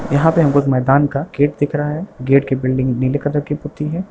यहाँ पे हमको एक मैदान का गेट दिख रहा है गेट की बिल्डिंग नील कलर की पुती है।